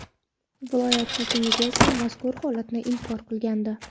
Viloyat hokimligi esa mazkur holatni inkor qilgandi .